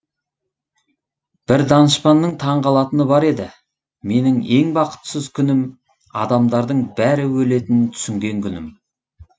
бір данышпанның таңғалатыны бар еді менің ең бақытсыз күнім адамдардың бәрі өлетінін түсінген күнім